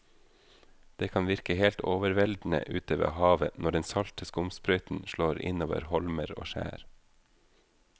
Det kan virke helt overveldende ute ved havet når den salte skumsprøyten slår innover holmer og skjær.